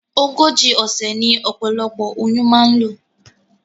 Ogójì òsè ní opolopo oyún ma n lò